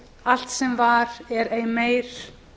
allt sem var er ei meir